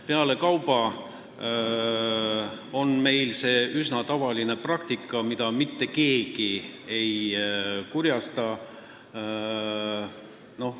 Pealekauba on see meil üsna tavaline praktika, mille peale mitte keegi ei kurjusta.